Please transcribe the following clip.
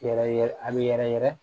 Yɛrɛ yɛrɛ a bɛ yɛrɛ yɛrɛ yɛrɛ